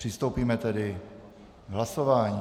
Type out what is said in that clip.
Přistoupíme tedy k hlasování.